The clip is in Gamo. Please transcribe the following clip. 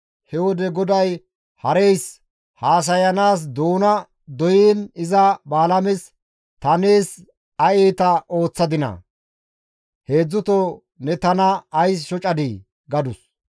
He wode GODAY hareys haasayanaas doona doyiin iza Balaames, «Ta nees ay iita ooththadinaa? Heedzdzuto ne tana ays shocadii?» gadus.